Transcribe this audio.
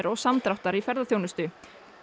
og samdráttar í ferðaþjónustu